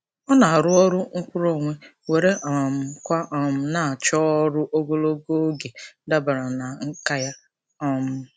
Ọ na-arụ ọrụ nkwuruonwe were um kwa um na-achọ ọrụ ogologo oge dabara na nkà ya. um